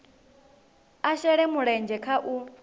a shele mulenzhe kha u